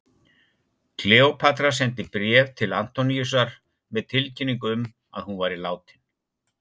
Kleópatra sendi bréf til Antoníusar með tilkynningu um að hún væri látin.